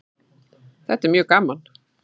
Þetta er mjög gaman